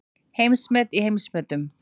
Heimsmet í heimsmetum